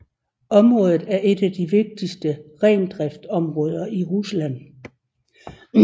Området er et af de vigtigste rendriftsområder i Rusland